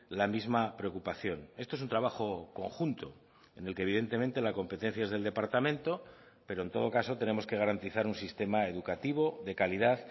la misma preocupación esto es un trabajo conjunto en el que evidentemente la competencia es del departamento pero en todo caso tenemos que garantizar un sistema educativo de calidad